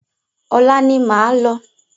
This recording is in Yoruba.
Ọ̀la ni máa lọ.